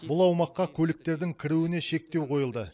бұл аумаққа көліктердің кіруіне шектеу қойылды